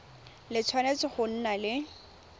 le tshwanetse go nna le